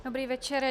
Dobrý večer.